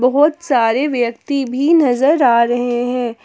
बहुत सारे व्यक्ति भी नजर आ रहे हैं।